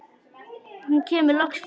Hún kemur loks fram aftur.